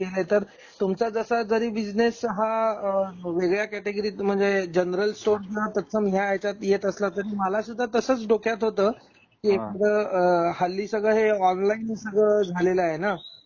आहे तर तुमचा जसा जरी बिझनेस हा अ वेगळ्या कॅटेगरीत म्हणजे जनरल स्टोर्स यात येत असला तरी मला सुद्धा तसंच डोक्यात होत कि एकदम हल्ली सगळे हे ऑनलाइन सगळी झालेला आहे ना त्यामुळे